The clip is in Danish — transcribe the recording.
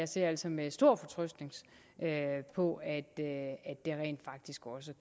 ser altså med stor fortrøstning på at det rent faktisk også